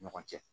Ɲɔgɔn cɛ